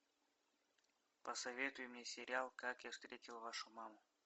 посоветуй мне сериал как я встретил вашу маму